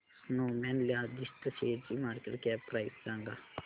Snowman logistics शेअरची market cap price सांगा